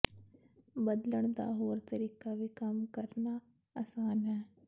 ਬਦਲਣ ਦਾ ਹੋਰ ਤਰੀਕਾ ਵੀ ਕੰਮ ਕਰਨਾ ਆਸਾਨ ਹੈ